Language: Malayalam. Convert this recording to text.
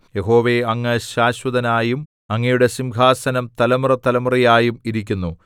യഹോവേ അങ്ങ് ശാശ്വതനായും അങ്ങയുടെ സിംഹാസനം തലമുറതലമുറയായും ഇരിക്കുന്നു